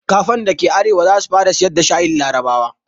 Kafen da ke arewa za su fara sayar da shayin larabawa.